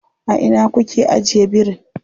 A ina kuke ajiye birin?